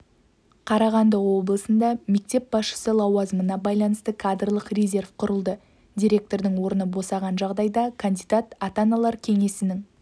қарағанды облысында мектеп басшысы лауазымына байланысты кадрлық резерв құрылды директордың орны босаған жағдайда кандидат ата-аналар кеңесінің